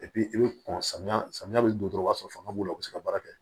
i bɛ kɔn samiya samiya bɛ don dɔrɔn i b'a sɔrɔ fanga b'u la u bɛ se ka baara kɛ